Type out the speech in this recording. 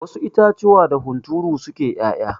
Wasu itatuwa da hunturu suke 'ya'ya.